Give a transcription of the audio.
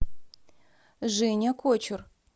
женя кочур